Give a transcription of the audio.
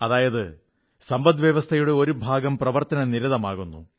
അതായത് സമ്പദ്വ്യവസ്ഥയുടെ ഒരു ഭാഗം പ്രവർത്തനനിരതമാകുന്നു